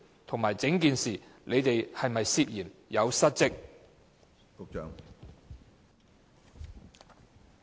同時，在整件事上，政府是否涉嫌失職？